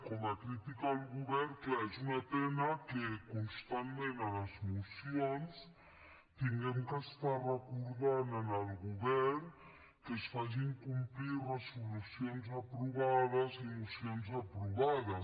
com a crítica al govern clar és una pena que constantment a les mocions hàgim d’estar recordant al govern que es facin complir resolucions aprovades i mocions aprovades